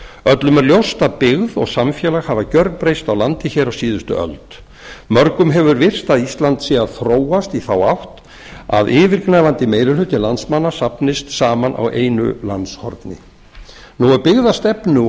öllum er ljóst að byggð og samfélag hafa gjörbreyst á landi hér á síðustu öld mörgum hefur virst að ísland sé að þróast í þá átt að yfirgnæfandi meiri hluti landsmanna safnist saman á einu landshorni nú er byggðastefnu og